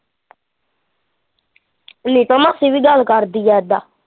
ਨੀਤਾਂ ਮਾਸੀ ਵੀ ਗੱਲ ਕਰਦੀ ਆ ਏਦਾਂ